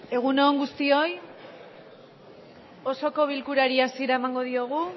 egun on guztioi osoko bilkurari hasiera emango diogu